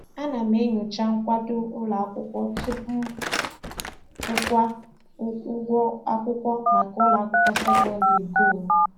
Ana m enyocha nkwado ụlọakwụkwọ tupu m kwụwa ụgwọ akwụkwọ maka ụlọakwụkwọ sekondịrị nke onwe.